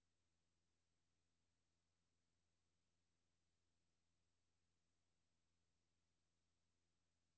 Det er muligt, læseren ikke deler min interesse for sammenbruddet af kulturerne i det østlige middelhav i bronzealderens slutning.